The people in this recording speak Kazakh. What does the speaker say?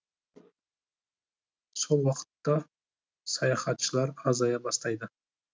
сол уақытта туристер азая бастайды